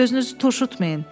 Üz-gözünüzü turşutmayın.